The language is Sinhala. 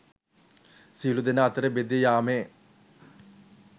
සියලු දෙනා අතරේ බෙදී යාමේ